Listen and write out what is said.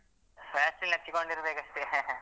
Vaseline ಹಚ್ಚಿಕೊಂಡಿರ್ಬೇಕು ಅಷ್ಟೇ